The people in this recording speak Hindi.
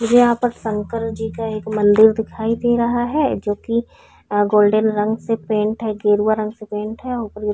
मुझे यहाँ पर शंकर जी का एक मंदिर दिखाई दे रहा है जो की अ गोल्डन रंग से पेंट है गेरुवा रंग से पेंट है ऊपर ये--